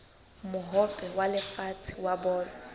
mohope wa lefatshe wa bolo